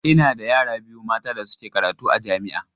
Ina da yara biyu mata da suke karatu a jami'a.